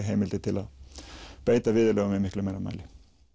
heimildir til að beita viðurlögum í miklu meira mæli